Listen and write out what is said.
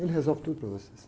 Ele resolve tudo para vocês.